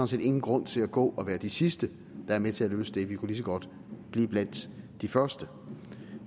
set ingen grund til at gå og være de sidste der er med til at løse det vi kan lige så godt blive blandt de første